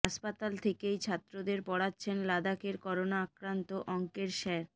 হাসপাতাল থেকেই ছাত্রদের পড়াচ্ছেন লাদাখের করোনা আক্রান্ত অঙ্কের স্যার